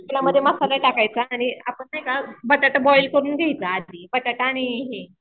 तेलामध्ये मसाला टाकायचा आणि नाही का बटाटा बॉईल करून घ्यायचा आधी. बटाटा आणि हे